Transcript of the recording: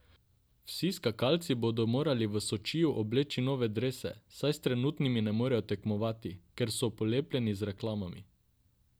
Vsi skakalci bodo morali v Sočiju obleči nove drese, saj s trenutnimi ne smejo tekmovati, ker so polepljeni z reklamami.